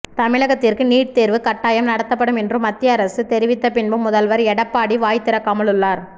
தமிழகத்திற்கு நீட் தேர்வு கட்டாயம் நடத்தப்படும் என்று மத்திய அரசு தெரிவித்தப்பின்பும் முதல்வர் எடப்பாடி வாய்திறக்காமல் உள்ளார்